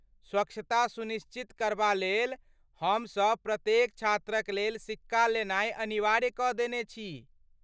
स्वच्छता सुनिश्चित करबालेल, हमसभ प्रत्येक छात्रक लेल सिक्का लेनाइ अनिवार्य कऽ देने छी।